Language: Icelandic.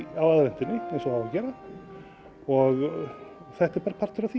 á aðventunni eins og á að gera og þetta er bara partur af því